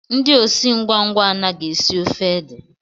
Ndị osi ngwa ngwa anaghị esi ofe ede